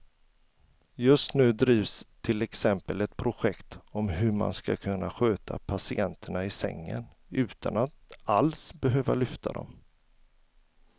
Just nu drivs till exempel ett projekt om hur man ska kunna sköta patienterna i sängen utan att alls behöva lyfta dem.